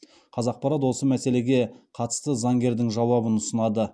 қазақпарат осы мәселеге қатысты заңгердің жауабын ұсынады